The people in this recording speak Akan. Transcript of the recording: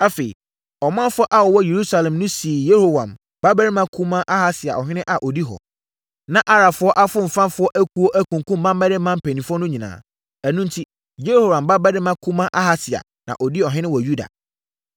Afei, ɔmanfoɔ a wɔwɔ Yerusalem no sii Yehoram babarima kumaa Ahasia ɔhene a ɔdi hɔ. Na Arabfoɔ afomfafoɔ akuo akunkum mmammarima mpanimfoɔ no nyinaa. Ɛno enti, Yehoram babarima kumaa Ahasia na ɔdii ɔhene wɔ Yuda.